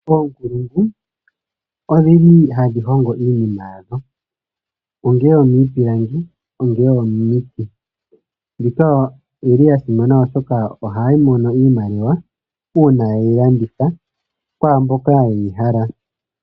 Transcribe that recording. Oonkulungu odhi li hadhi hongo iinima yadho ongele omiipilangi, ongele omiiti. Mbika oyi li ya simana, oshoka ohaya mono iimaliwa uuna ye yi landitha kwaa mboka ye yi hala.